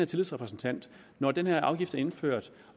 tillidsrepræsentant når den her afgift er indført